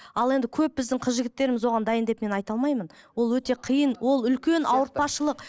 ал енді көп біздің қыз жігіттеріміз оған дайын деп мен айта алмаймын ол өте қиын ол үлкен ауыртпашылық